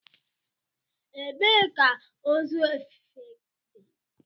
Ebee ka ozu efefe dị?